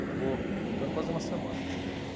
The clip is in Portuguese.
Acabou ficando quase uma semana. Êh